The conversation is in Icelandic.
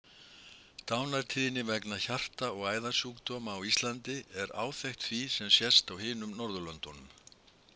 Dánartíðni vegna hjarta- og æðasjúkdóma á Íslandi er áþekk því sem sést á hinum Norðurlöndunum.